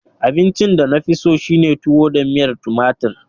Abincin da na fi so shine tuwo da miyar tumatir.